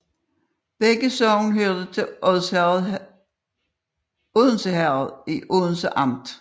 Begge sogne hørte til Odense Herred i Odense Amt